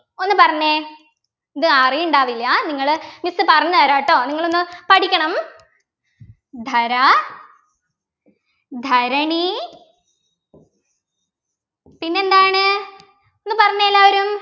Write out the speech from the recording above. ഒന്നു പറഞ്ഞേ ഇത് അറിയുണ്ടാവില്ല നിങ്ങള് miss പറഞ്ഞു തരാട്ടോ നിങ്ങൾ ഒന്ന് പഠിക്കണം ധര ധരണി പിന്നെന്താണ് ഒന്ന് പറഞ്ഞെ എല്ലാവരും